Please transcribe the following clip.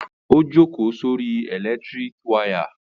Ó jókòó sí orí ẹ̀lẹ́tíríkì wayà.